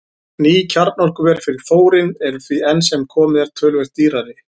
Ný kjarnorkuver fyrir þórín eru því enn sem komið er töluvert dýrari.